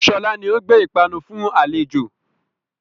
Sọlá ni ó gbé ìpanu fún àlejò